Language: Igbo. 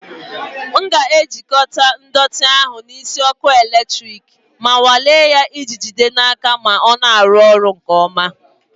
M ga-ejikọta ndọtị ahụ na isi ọkụ eletrik ma nwalee ya iji jide n'aka ma ọ na-arụ ọrụ nke ọma.